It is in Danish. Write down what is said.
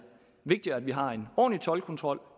vigtigere at vi har en ordentlig toldkontrol